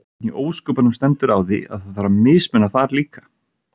Hvernig í ósköpunum stendur á því að það þarf að mismuna þar líka?